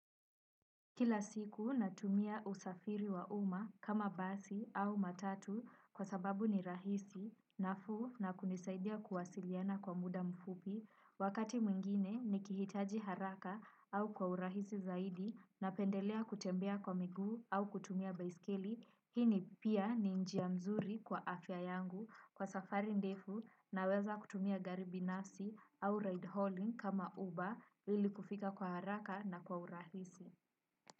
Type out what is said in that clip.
Kila siku natumia usafiri wa uma kama basi au matatu kwa sababu ni rahisi, nafuu na kunisaidia kuwasiliana kwa muda mfupi. Wakati mwingine ni kihitaji haraka au kwa urahisi zaidi na pendelea kutembea kwa migu au kutumia baiskili, hini pia ni njia mzuri kwa afya yangu kwa safari ndefu na weza kutumia gari binafsi au ride hauling kama uba ili kufika kwa haraka na kwa urahisi.